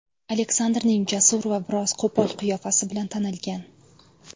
Aleksandrning jasur va biroz qo‘pol qiyofasi bilan tanilgan.